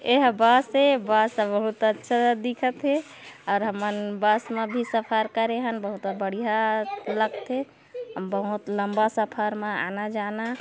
ये बस हे बस बहुत अच्छा दिखत थे और हमन बस में भी सफर करे हन बहुत बढ़िया लगत थे बहुत लम्बा सफर में आना जाना--